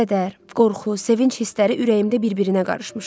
Kədər, qorxu, sevinc hissləri ürəyimdə bir-birinə qarışmışdı.